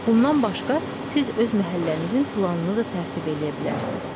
Bundan başqa siz öz məhəllənizin planını da tərtib eləyə bilərsiniz.